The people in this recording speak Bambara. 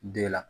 Den la